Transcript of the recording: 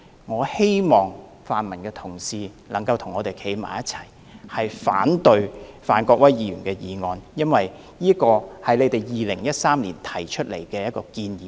"我希望泛民議員能夠與我們一同反對范國威議員的議案，因為上述是他們在2013年提出的建議。